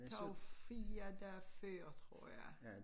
Tager jo 4 dag før tror jeg